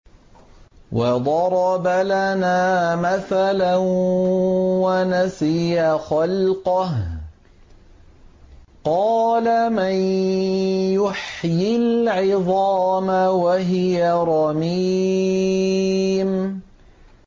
وَضَرَبَ لَنَا مَثَلًا وَنَسِيَ خَلْقَهُ ۖ قَالَ مَن يُحْيِي الْعِظَامَ وَهِيَ رَمِيمٌ